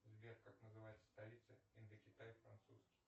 сбер как называется столица индокитай французский